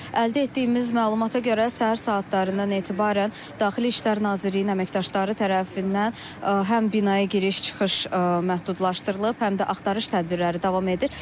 Əldə etdiyimiz məlumata görə səhər saatlarından etibarən Daxili İşlər Nazirliyinin əməkdaşları tərəfindən həm binaya giriş-çıxış məhdudlaşdırılıb, həm də axtarış tədbirləri davam edir.